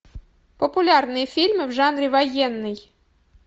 популярные фильмы в жанре военный